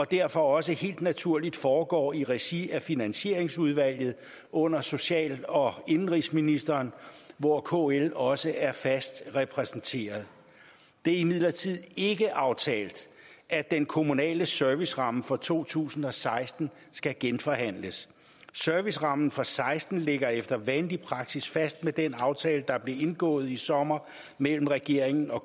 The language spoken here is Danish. derfor også helt naturligt foregår i regi af finansieringsudvalget under social og indenrigsministeren hvor kl også er fast repræsenteret det er imidlertid ikke aftalt at den kommunale serviceramme for to tusind og seksten skal genforhandles servicerammen for seksten ligger efter vanlig praksis fast med den aftale der blev indgået i sommer mellem regeringen og